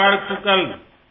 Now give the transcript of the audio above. நல்வாழ்த்துக்கள்